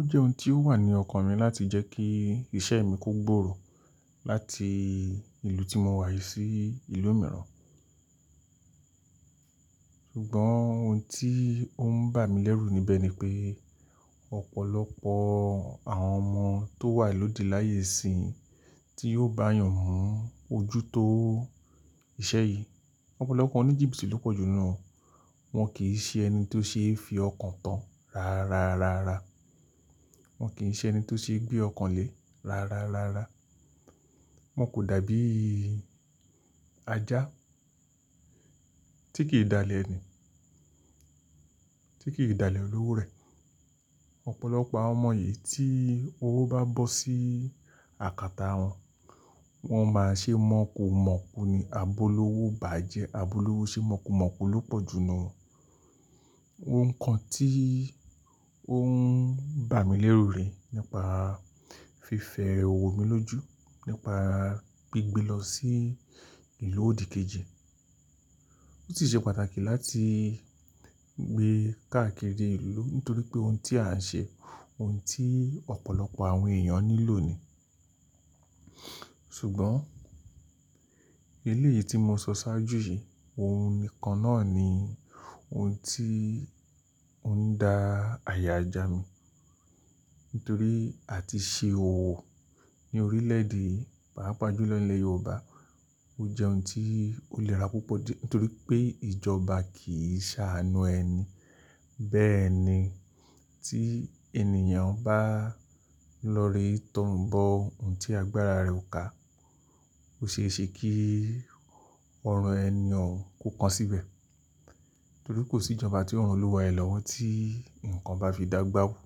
Ó jẹ́ ohun tí ó wà ní ọkàn mi láti jẹ́ kí iṣẹ́ mi kó gbòòrò láti ìlú tí mo wà yi sí ìlú mìíràn. Ṣùgbọ́n ohun tí ó ń bà mí lẹ́rù níbẹ̀ ni pé ọ̀pọ̀lọpọ̀ àwọn ọmọ tó wà lóde láyé síyìn tí yóò bá yàn mú ojú tó iṣẹ́ yìí. Ọ̀pọ̀lọpọ̀ oníjìbìtì ló pọ̀jù ninu wọ́n won kì ṣe ẹni tó ṣe é fi ọkàn tán rárárárá. Wọn kì í ṣe ẹni tó ṣe gbé ọkàn le rárárárá. Wọn kò dàbí ajá tí kì í dalẹ̀ eni, tí kì í dalẹ̀ olowo rẹ̀. Ọ̀pọ̀lọpọ̀ àwọn ọmọ yìí tí owó bá bọ́ sí àkàtà wọn, wọ́n máa ṣe mọ̀ọ́kumọ̀ọ́ku ni, abọ́lọ́wọ́ bá jẹ́ abọ́lọ́wọ́ ṣe mọ̀ọ́kumọ̀ọ́ku ló pọ̀jù nu won Ohun kan tí ó ń bà mí lẹ́rù rẹ̀ nípa fífẹ́ owó mi lójú, nípa gbígbé lọ sí ìlú òdìkejì. Ó sì ṣe pàtàkì láti gbé káàkiri ìlú nítorí pé ohun tí à ń ṣe, ohun tí ọ̀pọ̀lọpọ̀ àwọn èèyàn nílò ni. Ṣùgbọ́n elé yìí tí mo sọ sáájú yìí, òun nìkan náà ni ohun tí ó ń da àyà já mi. Nítorí àti ṣe òwò ní orílẹ̀ èdè, pàápàá jùlọ ní ilẹ̀ Yorùbá ó jẹ́ ohun tí ó léra púpọ̀ dí é, torí pé ìjọba kì í ṣàánú ẹni. Bẹ́ẹ̀ ni tí ènìyàn bá tọ̀rí bọ̀ ohun tí agbára rẹ̀ ò ká, ò ṣe é ṣe kí ọrùn ẹni ọ̀ún kó kan síbẹ̀. Nítorí kò sí ìjọba tí ó ran olúwa ẹ́ lọ́wọ́ tí nǹkan bá fi dà gbà wù.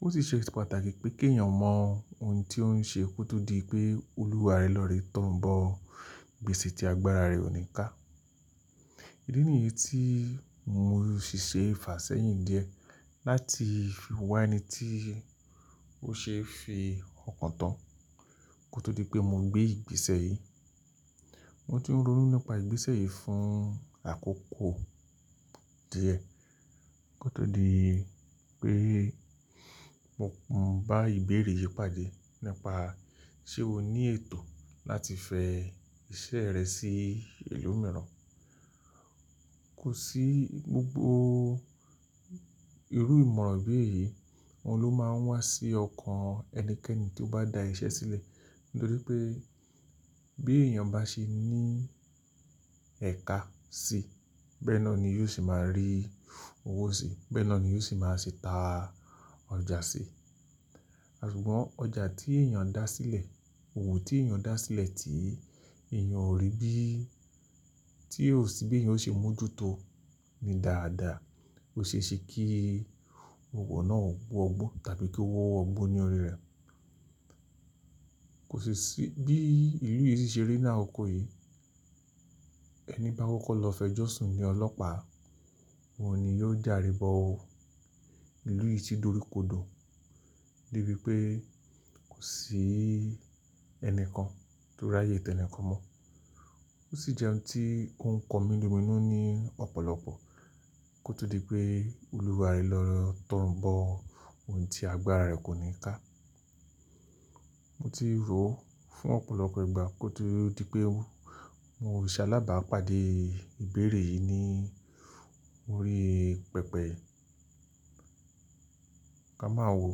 Ó sì ṣe pàtàkì pé kí èèyàn mọ ohun tí ó ń ṣe kó tó di pé olúwàre lọ̀ré tọ̀run bọ̀ gbèsè tí agbára rẹ̀ ò ní ká. Ìdí ni yí tí mo ṣì ṣe fà sẹ́yìn díẹ̀ láti wá ẹni tí ó ṣe é fi ọkàn tán kó tó di pé mo gbé ìgbésẹ̀ yìí. Mo ti ń ronú nípa ìgbésẹ̀ yìí fún àkókò díẹ̀ kó tó di pé mo ń bá ìbéèrè yìí pàdé nípa ṣé o ní ètò láti fẹ iṣẹ́ rẹ sí ìlú mìíràn. Kò sí gbogbo irú ìmọ̀ràn bí èyí, òun ló máa ń wá sí ọkàn ẹnikẹ́ni tí ó bá da iṣẹ́ sílẹ̀. Nítorí pé bí èèyàn bá ṣe ní ẹ̀ka sí, bẹ́ẹ̀ náà ni yóò se máa rí owó sí, bẹ́ẹ̀ náà ni yóò sì máa ṣe ta ọjà sí. Ṣùgbọ́n ọjà tí èèyàn dá sílẹ̀, òwò tí èèyàn dá sílẹ̀ tí èèyàn ò rí bí, tí ò sí bí eyan yóò ṣe mú ojú tó ni dáadáa ò ṣe é ṣe kí owó náà wọ́ gbó tàbí kí ówọ́ wọ́ gbó ní orí rẹ̀. Kò ṣi sí, bí ìlú yìí ṣe rí ni akoko yìí, ẹni bá kọ́kọ́ lọ fẹ́ jọ̀sún ni ile ọlọ́pàá, òun ni yóò jààre bọ̀ ọ́. Ìlú yìí tì doríkodò dé bí pé kò sí ẹni kan tó ráyè tẹnìkan mọ́. Ó sì jẹ́ ohun tí oun ko mi lominu ní ọ̀pọ̀lọpọ̀ kó tó di pé olúwaàre lọ̀ tọ̀run bọ̀ ohun tí agbára rẹ̀ kò ní ká. Mo ti rò ó fún ọ̀pọ̀lọpọ̀ ìgbà kó tó di pé mo ṣẹ́ alábàápàdé ìbéèrè yìí ní orí pẹpẹ. Ka máa wo,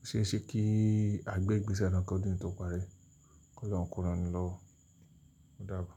o ṣé ẹ ṣe kí à gbẹ̀ ìgbésẹ̀ náà kó dún tọ́pa ri kó lọ́hun kó ràni lọwo Ó dàbo.